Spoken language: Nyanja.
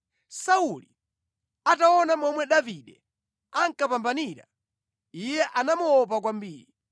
Sauli ataona momwe Davide ankapambanira, iye anamuopa kwambiri.